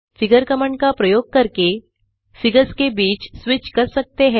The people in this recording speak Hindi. फिगर कमांड का प्रयोग करके फिगर्स के बीच स्विच कर सकते हैं